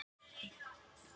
Meiri déskotans ólukkan.